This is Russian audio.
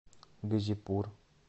газипур